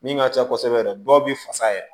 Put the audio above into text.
Min ka ca kosɛbɛ yɛrɛ dɔw bɛ fasa yɛrɛ